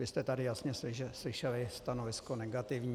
Vy jste tady jasně slyšeli stanovisko negativní.